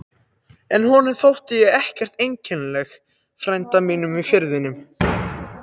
En honum þótti ég ekkert einkennileg frænda mínum í Firðinum.